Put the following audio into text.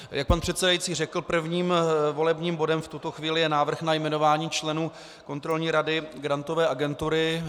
Jak pan předsedající řekl, prvním volebním bodem v tuto chvíli je návrh na jmenování členů Kontrolní rady Grantové agentury.